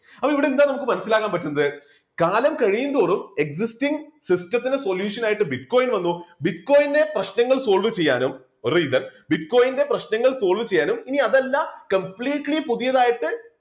അപ്പൊ ഇവിടെ എന്താ നമുക്ക് മനസ്സിലാക്കാൻ പറ്റുന്നത് കാലം കഴിയും തോറും existing system ത്തിന് solution ആയിട്ട് bitcoin വന്നു bitcoin ന്റെ പ്രശ്നങ്ങൾ solve ചെയ്യാനും bitcoin ന്റെ പ്രശ്നങ്ങൾ solve ചെയ്യാനും ഇനി അതല്ല completely പുതിയതായിട്ട്